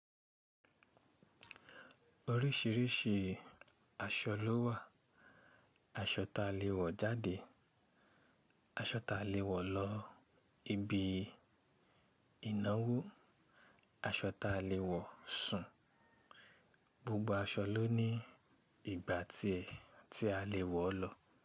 Orísìírísìí aṣọ lówà. Aṣọ ta lè wọ̀ jáde, aṣọ ta lè wọ̀ lọ ibi ìnáwó, aṣọ ta lè wọ̀ sùn. Gbogbo aṣọ ló ní ìgbà tiẹ̀ tí a lè wọ̀ ọ́ lọ.